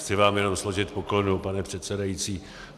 Chci vám jenom složit poklonu, pane předsedající.